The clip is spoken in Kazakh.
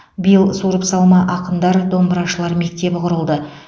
биыл суырып салма ақындар домбырашылар мектебі құрылды